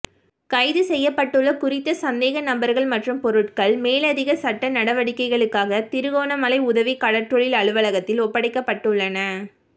கைது செய்யப்பட்டுள்ள குறித்த சந்தேக நபர்கள் மற்றும் பொருட்கள் மேலதிக சட்ட நடவடிக்கைகளுக்காக திருகோணமலை உதவி கடற்றொழில் அலுவலகத்தில் ஒப்படைக்கப்பட்டுள்ளன